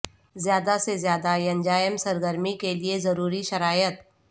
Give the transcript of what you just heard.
زیادہ سے زیادہ ینجائم سرگرمی کے لئے ضروری شرائط